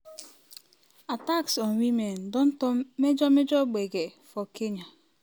attacks on women don turn major major gbege for kenya.